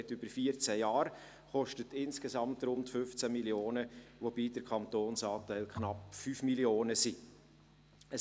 Es dauert über 14 Jahre und kostet insgesamt rund 15 Mio. Franken, wobei der Kantonsanteil knapp 5 Mio. Franken beträgt.